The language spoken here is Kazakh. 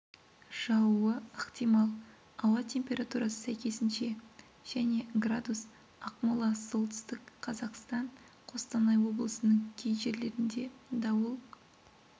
жаууы ықтимал ауа температурасы сәйкесінше және градус ақмола солтүстік қазақстан қостанай облысының кей жерлерінде дауыл